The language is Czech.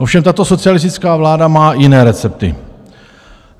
Ovšem tato socialistická vláda má jiné recepty.